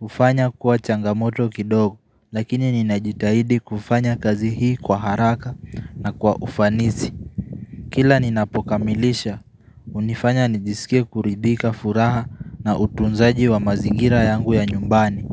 ufanya kuwa changamoto kidogo. Lakini ninajitahidi kufanya kazi hii kwa haraka na kwa ufanizi. Kila ninapokamilisha, hunifanya nijisikia kuridika furaha na utunzaji wa mazigira yangu ya nyumbani.